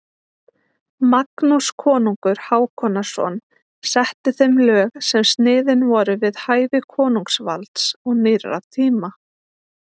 Magnús konungur Hákonarson setti þeim lög sem sniðin voru við hæfi konungsvalds og nýrra tíma.